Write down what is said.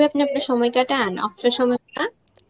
আপনে আপনার সময় কাটান, অবসর সময়টা?